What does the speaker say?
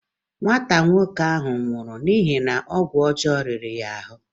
Nwata nwoke ahụ ọ nwụrụ n'ihi ọgwụ ọjọọ riri ya ahụ?